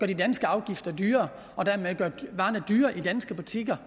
de danske afgifter dyrere og dermed gør varerne dyrere i danske butikker